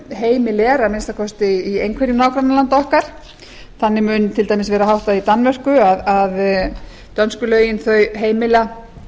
heimil er að minnsta kosti í einhverju nágrannalanda okkar þannig mun vera til dæmis háttað í danmörku að dönsku lögin heimila